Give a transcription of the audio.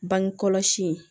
Bange kɔlɔsi